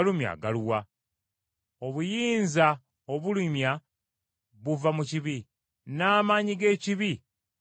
Obuyinza obulumya buva mu kibi, n’amaanyi g’ekibi gava mu mateeka.